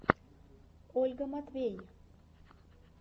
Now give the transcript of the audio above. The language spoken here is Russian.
ольга матвей